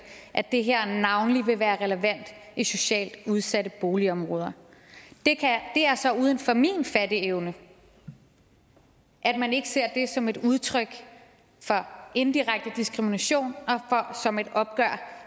at det her navnlig vil være relevant i socialt udsatte boligområder det er så uden for min fatteevne at man ikke ser det som et udtryk for en direkte diskrimination og som et opgør